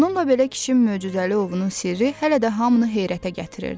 Bununla belə kişinin möcüzəli ovunun sirri hələ də hamını heyrətə gətirirdi.